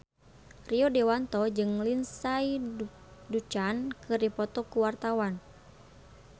Rio Dewanto jeung Lindsay Ducan keur dipoto ku wartawan